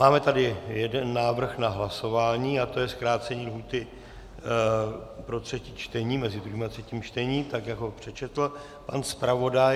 Máme tady jeden návrh na hlasování a to je zkrácení lhůty pro třetí čtení, mezi druhým a třetím čtením, tak jak ho přečetl pan zpravodaj.